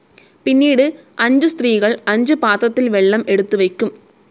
പിന്നീട് അഞ്ചു സ്ത്രീകൾ അഞ്ചു പാത്രത്തിൽ വെള്ളം എടുത്തുവെക്കും.